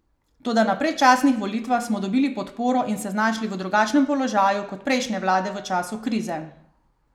Toda na predčasnih volitvah smo dobili podporo in se znašli v drugačnem položaju kot prejšnje vlade v času krize.